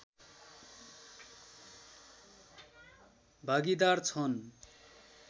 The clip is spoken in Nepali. भागीदार छन्